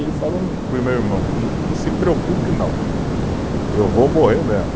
Ele falou para o meu irmão, não se preocupe não, eu vou morrer mesmo.